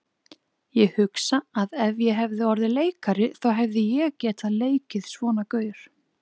Ég hugsa að ef ég hefði orðið leikari þá hefði ég getað leikið svona gaur.